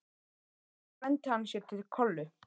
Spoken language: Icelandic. Svo renndi hann sér til Kollu.